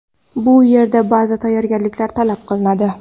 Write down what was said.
Bu yerda ba’zi tayyorgarliklar talab qilinadi.